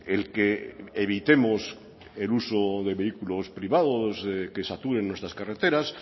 el que evitemos el uso de vehículos privados que saturen nuestras carreteras